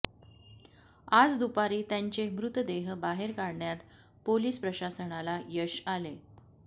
आज दुपारी त्यांचे मृतदेह बाहेर काढण्यात पोलिस प्रशासनाला यश आले